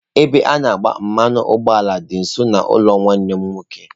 Ebe a na agba mmanụ ụgbọala dị nso n'ụlọ nwanne m nwoke.